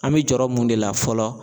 An bɛ jɔrɔ mun de la fɔlɔ